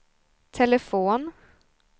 telefon